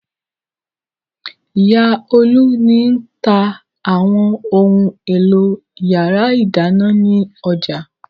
Ìyá Olú ni tá àwọn ohun-èlò ìyàrá-ìdáná ní ọjà.